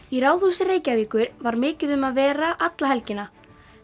í Ráðhúsi Reykjavíkur var mikið um að vera alla helgina